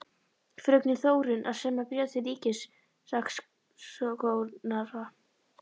Fröken Þórunn að semja bréf til ríkissaksóknara.